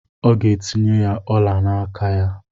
Ọ ga-etinye ọla n'aka ya.